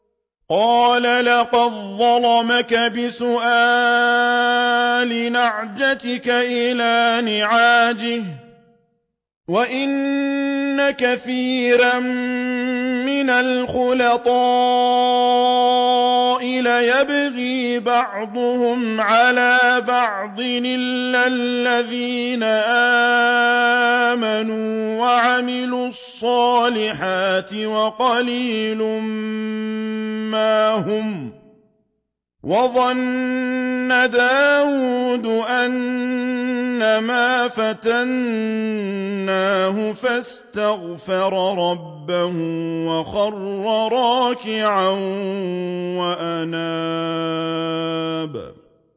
قَالَ لَقَدْ ظَلَمَكَ بِسُؤَالِ نَعْجَتِكَ إِلَىٰ نِعَاجِهِ ۖ وَإِنَّ كَثِيرًا مِّنَ الْخُلَطَاءِ لَيَبْغِي بَعْضُهُمْ عَلَىٰ بَعْضٍ إِلَّا الَّذِينَ آمَنُوا وَعَمِلُوا الصَّالِحَاتِ وَقَلِيلٌ مَّا هُمْ ۗ وَظَنَّ دَاوُودُ أَنَّمَا فَتَنَّاهُ فَاسْتَغْفَرَ رَبَّهُ وَخَرَّ رَاكِعًا وَأَنَابَ ۩